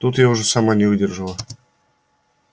тут я уже сама не выдержала